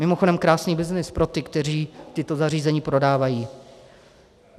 Mimochodem krásný byznys pro ty, kteří tato zařízení prodávají.